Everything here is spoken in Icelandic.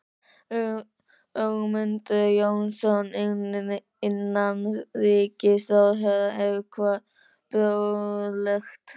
Ögmundur Jónasson, innanríkisráðherra: Er hvað boðlegt?